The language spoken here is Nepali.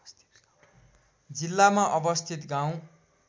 जिल्लामा अवस्थित गाउँ